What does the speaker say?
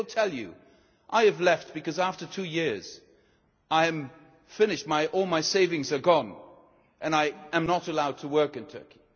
They will tell you I have left because after two years I am finished, all my savings are gone and I am not allowed to work in Turkey'.